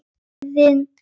Og kyrrðin algjör.